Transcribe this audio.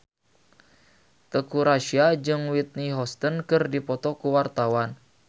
Teuku Rassya jeung Whitney Houston keur dipoto ku wartawan